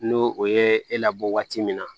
N'o o ye e labɔ waati min na